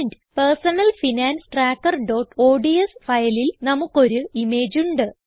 personal finance trackerഓഡ്സ് ഫയലിൽ നമുക്ക് ഒരു ഇമേജ് ഉണ്ട്